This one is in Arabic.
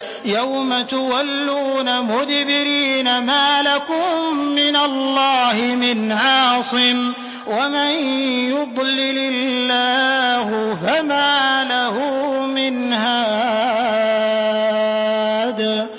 يَوْمَ تُوَلُّونَ مُدْبِرِينَ مَا لَكُم مِّنَ اللَّهِ مِنْ عَاصِمٍ ۗ وَمَن يُضْلِلِ اللَّهُ فَمَا لَهُ مِنْ هَادٍ